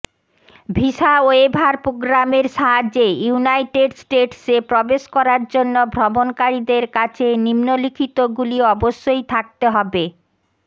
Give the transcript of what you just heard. visa waiver প্রোগ্রামের সাহায্যে United স্টেটসে প্রবেশ করার জন্য ভ্রমণকারীদের কাছে নিম্নলিখিতগুলি অবশ্যই থাকতে হবেঃ